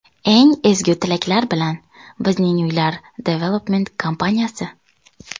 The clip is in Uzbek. Eng ezgu tilaklar bilan, Bizning Uylar Development kompaniyasi!